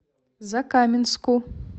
закаменску